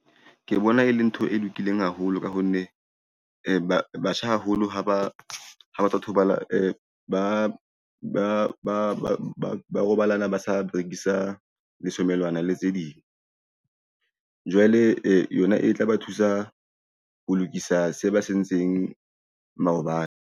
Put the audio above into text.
Ke bona e le ntho e lokileng haholo ka ho nne batjha haholo ha ba robalana ba sa berekisa leshomelwana le tse ding. Jwale yona e tla ba thusa ho lokisa se ba sentseng maobane.